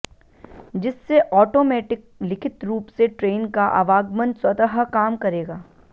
जिससे ऑटोमेटिक लिखित रूप से ट्रेन का आवागमन स्वतः काम करेगा